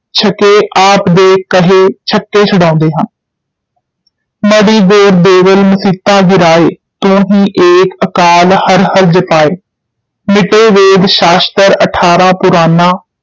ਛੱਕੇ ਆਪ ਦੇ ਕਹੇ ਛੱਕੇ ਛੁਡਾਉਂਦੇ ਹਨ ਮੜ੍ਹੀ ਗੌਰ ਦੇਵਲ ਮਸੀਤਾਂ ਗਿਰਾਏ, ਤੁਹੀਂ ਏਕ ਅਕਾਲ ਹਰਿ ਹਰਿ ਜਪਾਏ, ਮਿਟੇਂ ਵੇਦ ਸ਼ਾਸਤ੍ਰ ਅਠਾਰਾਂ ਪੁਰਾਨਾ,